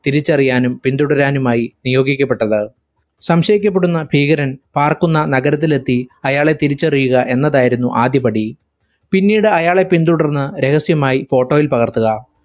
തിരിച്ചറിയാനും പിന്തുടരാനുമായി നിയോഗിക്കപ്പെട്ടത്. സംശയിക്കപ്പെടുന്ന ഭീകരൻ പാർക്കുന്ന നഗരത്തിലെത്തി അയാളെ തിരിച്ചറിയുക എന്നതായിരുന്നു ആദ്യപടി. പിന്നീട് അയാളെ പിന്തുടർന്ന് രഹസ്യമായി photo ഇൽ പകർത്തുക.